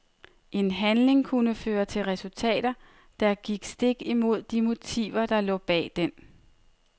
En handling kunne føre til resultater, der gik stik imod de motiver der lå bag den.